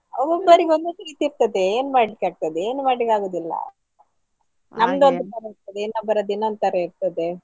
ಒಬ್ಬೊಬರಿಗೆ ಒಂದೊಂದು ರೀತಿ ಇರ್ತದೆ ಏನ್ ಮಾಡ್ಲಿಕ್ಕೆ ಆಗ್ತದೆ ಏನ್ ಮಾಡ್ಲಿಕ್ಕೆ ಆಗುದಿಲ್ಲ, ಇರ್ತದೆ ಇನ್ನೊಬ್ಬರದ್ದು ಇನ್ನೊಂದ್ ತರ ಇರ್ತದೆ.